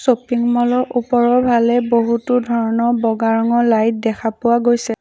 Shopping mall ৰ ওপৰৰ ফালে বহুতো ধৰণৰ বগা ৰঙৰ লাইট দেখা পোৱা গৈছে।